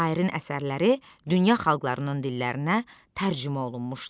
Şairin əsərləri dünya xalqlarının dillərinə tərcümə olunmuşdu.